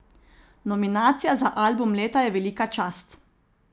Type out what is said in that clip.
Nominacija za album leta je velika čast.